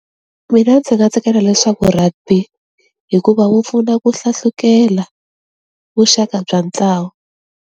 Mina ndzi nga tsakela leswaku rugby hikuva wu pfuna ku hlahlukela vuxaka bya ntlawa.